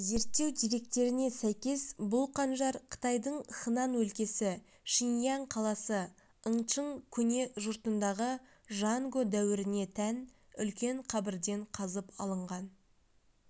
зерттеу деректеріне сәйкес бұл қанжар қытайдың хынан өлкесі шинияң қаласы яңчың көне жұртындағы жанго дәуіріне тән үлкен қабірден қазып алынған